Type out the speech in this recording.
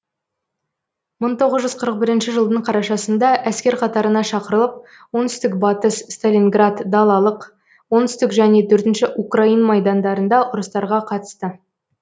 мың тоғыз жүз қырық бірінші жылдың қарашасында әскер қатарына шақырылып оңтүстік батыс сталинград далалық оңтүстік және төртінші украин майдандарында ұрыстарға қатысты